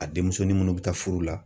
A denmusonin minnu bɛ taa furu la.